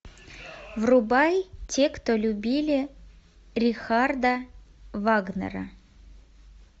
врубай те кто любили рихарда вагнера